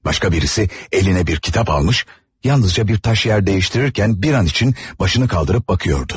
Başqa birisi əlinə bir kitab almış, yalnızca bir daş yer dəyiştirərkən bir an üçün başını qaldırıb baxıyordu.